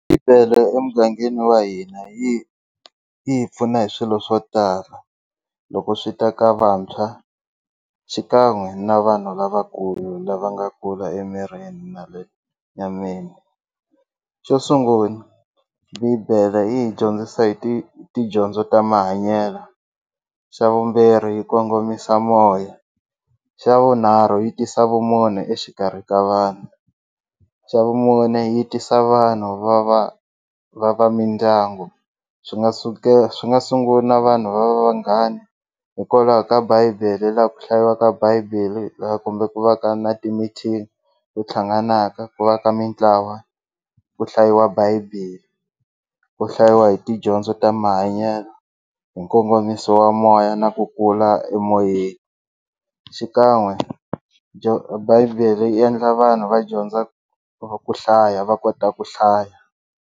Bibele emugangeni wa hina yi yi hi pfuna hi swilo swo tala loko swi ta ka vantshwa xikan'we na vanhu lavakulu lava nga kula emirini na le nyameni xo sungula bibele yi hi dyondzisa hi ti tidyondzo ta mahanyelo xa vumbirhi yi kongomisa moya xa vunharhu yi tisa vumune exikarhi ka vanhu xa vumune yi tisa vanhu va va va va mindyangu swi nga swi nga sungula vanhu va va vanghani hikwalaho ka bible laha ku hlayisiwaka bible laha kumbe ku va ka na timithini ku thlanganaka ku va ka mintlawa ku hlayiwa bible ku hlayiwa hi tidyondzo ta mahanyelo hi nkongomiso wa moya na ku kula emoyeni xikan'we bible yi endla vanhu va dyondza ku ku hlaya va kota ku hlaya.